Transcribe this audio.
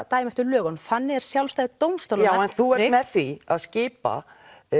dæma eftir lögunum þannig er sjálfstæði dómstólanna já en þú ert með því að skipa